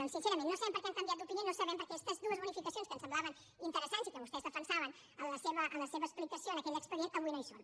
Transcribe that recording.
doncs sincerament no sabem per què han canviat d’opinió no sabem per què aquestes dues bonificacions que ens semblaven interessants i que vostès defensaven en la seva explicació en aquell expedient avui no hi són